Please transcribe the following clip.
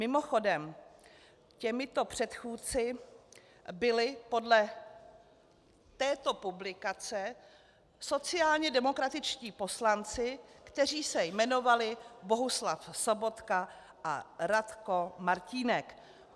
Mimochodem, těmito předchůdci byli podle této publikace sociálně demokratičtí poslanci, kteří se jmenovali Bohuslav Sobotka a Radko Martínek.